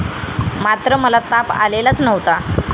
मात्र मला ताप आलेलाच नव्हता.